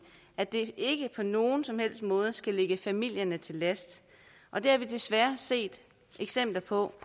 at det ikke på nogen som helst måde skal ligge familierne til last og det har vi desværre set eksempler på